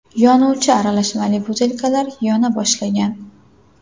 Yonuvchi aralashmali butilkalar yona boshlagan.